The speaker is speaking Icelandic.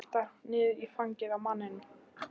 Veltur niður í fangið á manninum.